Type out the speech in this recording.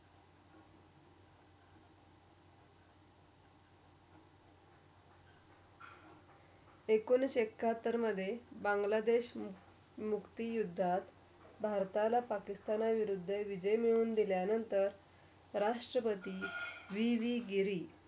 एकोणीशी एकाहत्तरमधे बांग्लादेश मुक्तीयुद्धात, भारताला पाकिस्तान विरुद्ध विजय मिळून दिल्या नंतर राष्ट्रपती विविगिरी.